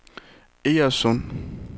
Egernsund